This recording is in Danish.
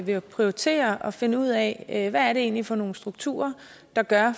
vil prioritere at finde ud af hvad er det egentlig for nogle strukturer der gør